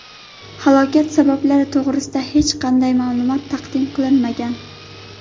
Halokat sabablari to‘g‘risida hech qanday ma’lumot taqdim qilinmagan.